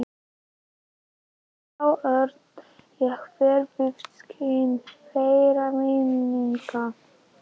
Ennþá orna ég mér við skin þeirra minninga.